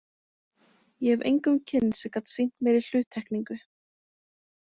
Ég hef engum kynnst sem gat sýnt meiri hluttekningu.